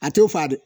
A t'o fa